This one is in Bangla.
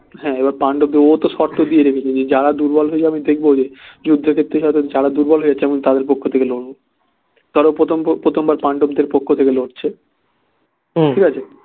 হ্যাঁ এবার পাণ্ডবদের ও তো শর্ত দিয়ে রেখেছে যারা দুর্বল হয়ে যাবে দেখবে ওদের যুদ্ধক্ষেত্রে হয়তো যারা দুর্বল হয়ে যাচ্ছে আমি তাদের পক্ষ থেকে লড়বো পরে প্রথমবার পাণ্ডবদের পক্ষ থেকে লড়ছে ঠিকাছে